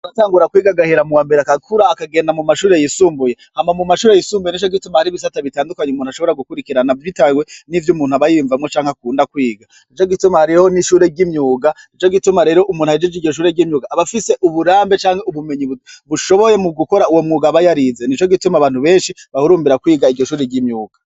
Aratangura kwiga agahera mu wambere akakura akagenda mu mashure yisumbuye hama mu mashure yisumbuye ne co gituma hari ibisata bitandukanye umuntu ashobora gukurikirana vyitaywe n'ivyo umuntu aba yiyumvamwo canke akunda kwiga ne co gituma hariho n'ishure ry'imyuga nco gituma rero umuntu ayejije igishure ry'imyuga abafise uburambe canke ubumenyi bushoboye mu gukora uwo mwuga abayo arize ni co gituma abantu benshi bahurumbira kwiga a igishuri ry'imyuka.